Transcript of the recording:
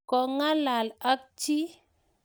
Kongalal ak chi?